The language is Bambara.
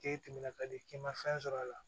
K'e tɛmɛna ka di k'i ma fɛn sɔrɔ a la